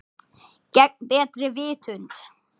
Gegn betri vitund.